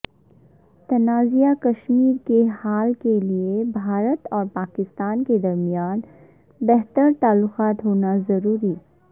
تنازعہ کشمیر کے حل کیلئے بھارت اور پاکستان کے درمیان بہتر تعلقات ہونا ضروری